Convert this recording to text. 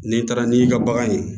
N'i taara n'i ka bagan ye